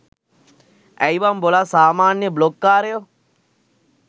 ඇයි බන් බොලා සාමාන්‍ය බ්ලොග් කාරයො